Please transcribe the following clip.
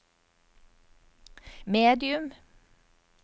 medium